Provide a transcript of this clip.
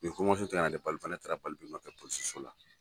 Ni koma sugu tɛ na le ne taara kɛ polisi so la.